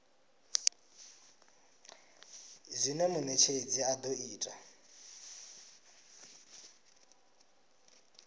zwine munetshedzi a do ita